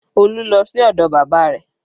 Olú lọ sí ọdọ bàbá bàbá rẹ̀